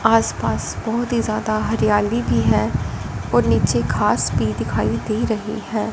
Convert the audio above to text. आस पास बहोत ही ज्यादा हरियाली भी है और नीचे घास भी दिखाई दे रही है।